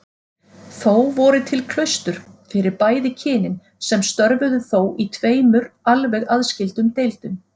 Þó voru til klaustur fyrir bæði kynin sem störfuðu þó í tveimur alveg aðskildum deildum.